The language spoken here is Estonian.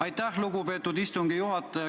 Aitäh, lugupeetud istungi juhataja!